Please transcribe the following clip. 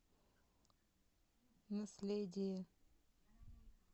наследие